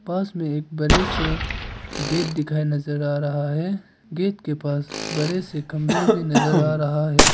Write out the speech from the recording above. पास में एक बड़े से गेट दिखाई नजर आ रहा है गेट के पास बड़े से खंबे भी नजर आ रहा है।